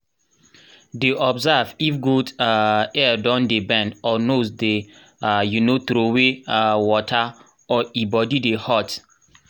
dey observe if goat um ear don dey bend or nose dey um trowey um water or e body dey hot